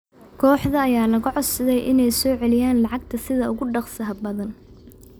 Kooxda ayaa laga codsaday inay soo celiyaan lacagta sida ugu dhaqsaha badan.